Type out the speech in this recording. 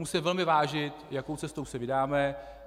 Musíme velmi zvážit, jakou cestou se vydáme.